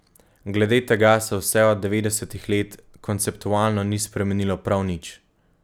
Glede tega se vse od devetdesetih let konceptualno ni spremenilo prav nič.